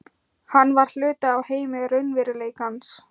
Hann var hluti af heimi raunveruleikans.